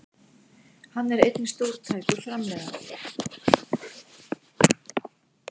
Hann er einnig stórtækur framleiðandi